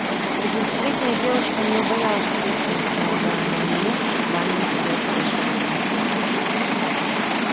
пятнадцатилетняя девочка не убоялась ответственности налагаемой на неё званием хозяйки большого поместья